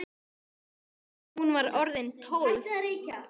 Hún var orðin tólf!